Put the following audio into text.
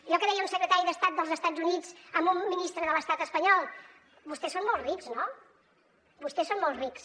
allò que deia un secretari d’estat dels estats units a un ministre de l’estat espanyol vostès són molt rics no vostès són molt rics